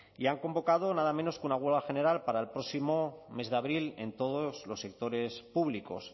y han convocado nada menos que una huelga general para el próximo mes de abril en todos los sectores públicos